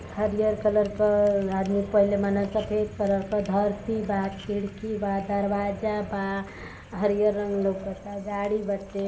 हरिहर colour क आदमी पहीनले बानसन। सफेद कलर क धरती बा। खिड़की बा। दरवाजा बा। हरिहर रंग लौकता। गाड़ी बाटे।